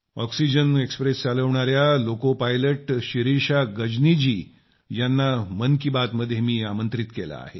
oxygen express चालविणाया loco pilot Shirisha Gajni ji यांना मन की बातमध्ये मी आमंत्रित केलं आहे